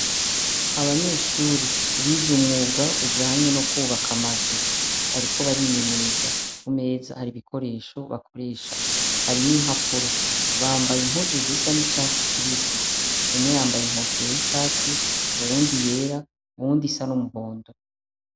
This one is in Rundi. Abanyeshsuri biz’umwuga ujanye nukwubak’amazu bariko barimenyereza, kumeza haribikoresho bakoresha. Hari n’impapuro, bambay’impuzu zisa nicatsi kibisi, umwe yambay’inkofero y’icatsi, uwund’iyera, uwundisa n’umuhondo.